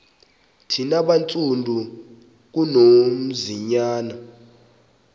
thina bantsundu ngunonzinyana